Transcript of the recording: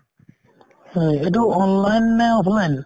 হয়, এইটো online নে offline ?